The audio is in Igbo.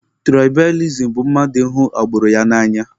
Tụraịbalizim bụ mmadụ ịhụ agburu ya n'anya.